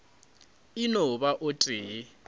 e no ba o tee